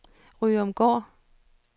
Ryomgård